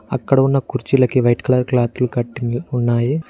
అక్కడ ఉన్న కుర్చీలకి వైట్ కలర్ క్లాతులు కట్టింగ్ ఉన్నాయి.